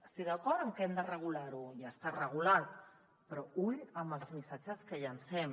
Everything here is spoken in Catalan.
estic d’acord en que hem de regular ho i ja està regulat però ull amb els missatges que llancem